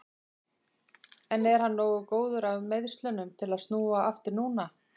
En er hann nógu góður af meiðslunum til að snúa aftur núna?